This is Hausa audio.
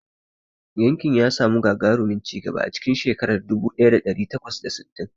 Yankin ya samu gagarumin ci gaba a cikin shekara dubu ɗaya da ɗari takwas da sittin.